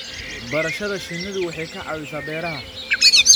Barashada shinnidu waxay ka caawisaa beeraha.